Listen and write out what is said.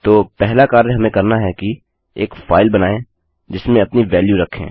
तो पहला कार्य हमें करना है कि एक फाइल बनाएँ जिसमें अपनी वेल्यू रखें